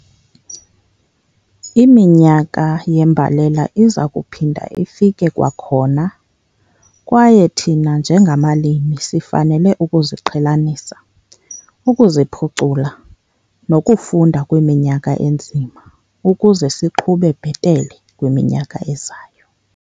Iminyaka yembalela iza kuphinda ifike kwakhona kwaye thina njengabalimi sifanele ukuziqhelanisa, ukuziphucula nokufunda kwiminyaka enzima ukuze siqhube bhetele kwiminyaka ezayo.